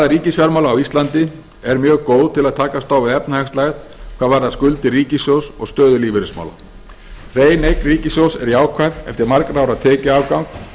ríkisfjármála á íslandi er mjög góð til að takast á við efnahagslægð hvað varðar skuldir ríkissjóðs og stöðu lífeyrismála hrein eign ríkissjóðs er jákvæð eftir margra ára tekjuafgang